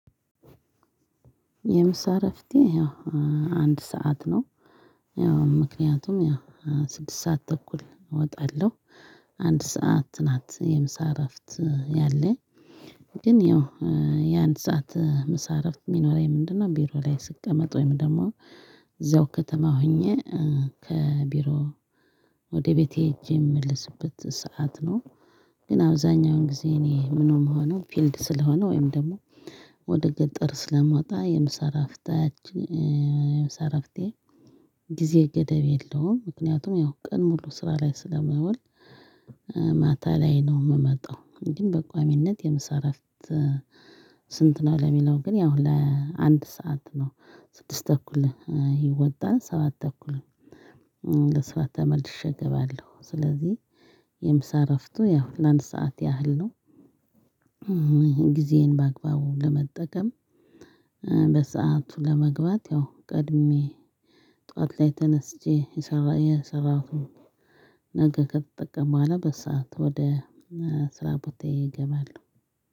የምሳ እረፍቴ ያው አንድ ሰዓት ነው ያው ምክንያቱም ያው ስድስት ሰዓት ተኩል እወጣለሁ አንድ ሰዓት ናት የምሳ እረፍት ያለ ግን ያው የአንድ ሰዓት ምሳሌ አረፍት የሚኖረኝ ምንድነው ቢሮ ላይ ስቀመጥ ወይም ደግሞ እዛው ከተማ ሆኜ ከቢሮ ወደ ቤቴ ሄጄ የምመልስበት ሰዓት ነው ግን አብዛኛውን ጊዜ እኔ ምንም ሆኖ ፊልድ ስለሆነ ወይም ደግሞ ወደ ገጠር ስለማወጣ የምሳ እራፍታች የምሳ እራፍቴ ጊዜ ገደብ የለውም ምክንያቱም ያው ቀን ሙሉ ስራ ላይ ስለመወል መታ ላይ ነው የምመጣው እንደውም በቆምነት የምሰራበት ስንት ነው የሚለው ያው አንድ ሰዓት ነው። ስድስት ተኩል ይወጣል ሰበት ተኩል ላይ ተመልሼ እገባለሁ። የምሳ እረፍቱ ለአንድ ስዓት ያህል ነው። ጊዜዬን በአግባቡ ለመጠቀም በሰአቱ ለመግባት ያው ቀድሜ ጠዋት ላይ ተነስቼ የሰራሁት ነገር ከተጠቀመኩ በኋላ በሰአት ወደ ስራ ቦታዬ እገባለሁ።